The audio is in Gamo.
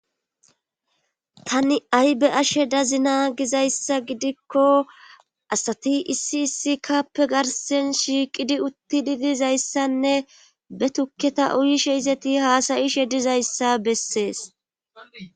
tani ay be ashe dazina gizayssa gidikko asati issi issikappe garsen shiiqidi utti didizayssanne be tukketa uyishe izeti haasayishe dizayssa bessees